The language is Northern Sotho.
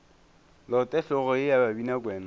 lote hlogo ye ya babinakwena